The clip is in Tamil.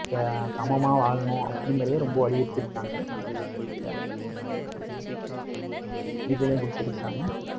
இந்த சமமாக வாழணும், அப்படிங்கறதை ரொம்ப வலியுறுத்தியிருக்காங்க அந்த கொள்கையில இதிலயும் குடுத்திருக்காங்க.